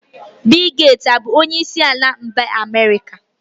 Bill Gates ọ bụ onyeisi ala mba America?